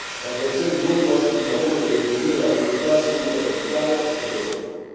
La creazione di nuovi posti di lavoro deve divenire la priorità assoluta per l'Italia e per l'Europa.